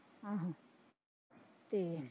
ਆਹੋ ਤੇ।